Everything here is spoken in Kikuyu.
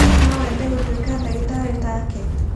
No wende gũtuĩka ndagĩtarĩ ta ke?